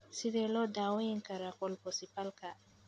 Sidee loo daweyn karaa colpocephalka?